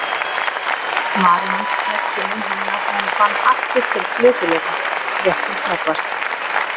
Varir hans snertu munn hennar og hún fann aftur til flökurleika, rétt sem snöggvast.